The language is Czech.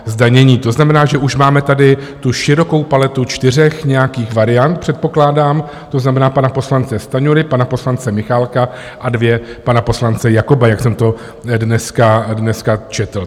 To znamená, že už máme tady tu širokou paletu čtyř nějakých variant, předpokládám, to znamená pana poslance Stanjury, pana poslance Michálka a dvě pana poslance Jakoba, jak jsem to dneska četl.